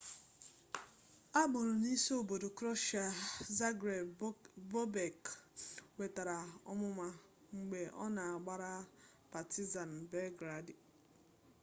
a mụrụ n'isi obodo kroeshịa zagreb bobek nwetara ọmụma mgbe ọ na-agbara partizan belgradi